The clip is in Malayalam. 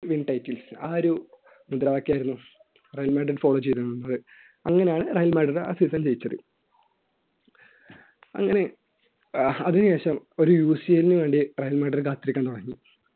ആ ഒരു മുദ്രാവാക്യം ആയിരുന്നു റയൽ മാഡ്രില്‍ follow ചെയ്തിരുന്നത് അങ്ങനെയാണ് ആ സീസൺ റയൽ മാഡ്രിഡ് ജയിച്ചത് അങ്ങനെ അതിനുശേഷം ഒരു UCL ന് വേണ്ടി റയൽ മാഡ്രിഡ് കാത്തിരിക്കാൻ തുടങ്ങി